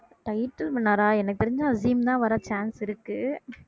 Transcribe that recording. title winner ஆ எனக்கு தெரிஞ்சு அஸீம் தான் வர chance இருக்கு